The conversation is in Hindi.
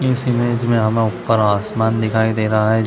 इस इमेज हमें ऊपर आसमान दिखाई दे रहा हैं ।